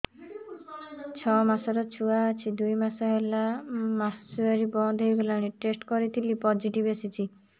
ଛଅ ମାସର ଛୁଆ ଅଛି ଦୁଇ ମାସ ହେଲା ମାସୁଆରି ବନ୍ଦ ହେଇଗଲାଣି ଟେଷ୍ଟ କରିଥିଲି ପୋଜିଟିଭ ଆସିଛି